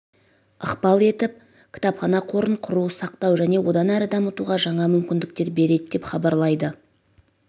ықпал етіп кітапхана қорын құру сақтау және одан әрі дамытуға жаңа мүмкіндіктер береді деп хабарлайды